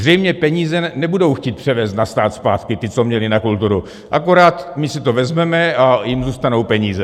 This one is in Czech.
Zřejmě peníze nebudou chtít převést na stát zpátky, ty, co měli na kulturu, akorát my si to vezmeme a jim zůstanou peníze.